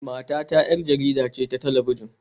Matata 'yar jarida ce ta talabijin